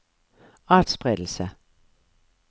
atspredelse